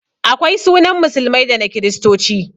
Akwai sunan musulmai da na kiristoci